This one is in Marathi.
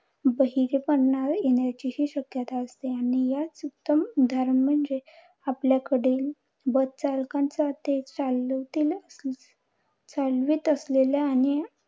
बहिरेपणा येण्याचीही शक्यता असते. आणि याचे उत्तम उदाहरण म्हणजे आपल्या कडील bus चालकांचा ते चालवतील अं चालवीत असलेल्या